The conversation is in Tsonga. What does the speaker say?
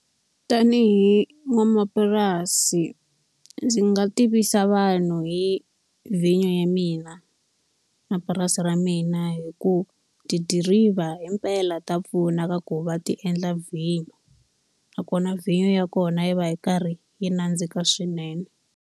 Tanihi n'wanamapurasi ndzi nga tivisa vanhu hi vhinyo ya mina na purasi ra mina. Hikuva tidiriva himpela ta pfuna ka ku va ti endla vhinyo, nakona vhinyo ya kona yi va yi karhi yi nandzika swinene.